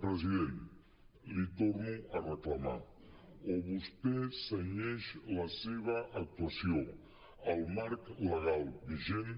president li torno a reclamar o vostè cenyeix la seva actuació al marc legal vi·gent